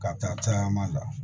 Ka taa caman la